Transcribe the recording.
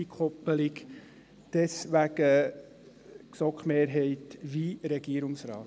Deswegen stimmt die GSoK-Mehrheit wie der Regierungsrat.